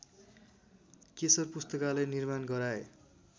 केशर पुस्तकालय निर्माण गराए